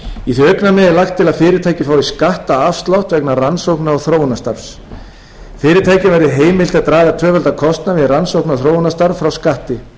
í því augnamiði er lagt til að fyrirtækið fái skattafslátt vegna rannsókna og þróunarstarfs fyrirtækjum verði heimilt að draga tvöfaldan kostnað við rannsókna og þróunarstarf frá skatti